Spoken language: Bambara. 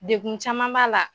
Dekun caman b'a la.